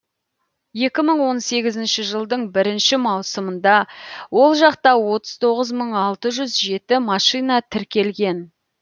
екі мың он сегізінші жылдың бірінші маусымында ол жақта отыз тоғыз мың алты жүз жеті машина тіркелген